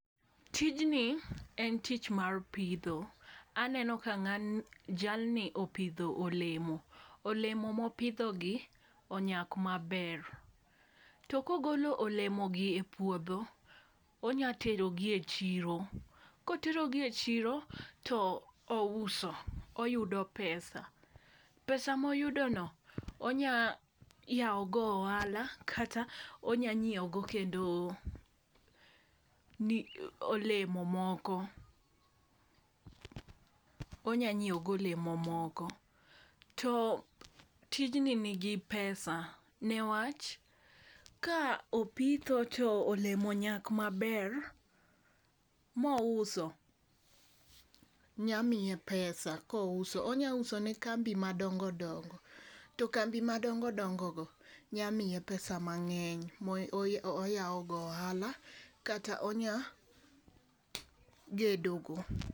Tijni en tich mar pidho. Aneno ka ng'ani jalni opidho olemo, olemo mopidho gi onyak maber. To kogolo olemo gi e puodho onya tero gi e chiro. Kotero gi e chiro to ouso oyudo pesa, pesa moyudo no onya yawo go ohala kata onya nyiewo go kendo ni olemo moko onya nyiewo go olemo moko. To tijni nigi pesa newach ka opitho to olemo onyak maber mouso nya miye pesa kouso onya uso ne kambi madongodongo to kambi madongodongo go nya miye pesa mange'ny mo moyawo go ohala kata onya gedo go.